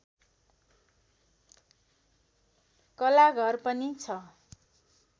कलाघर पनि छ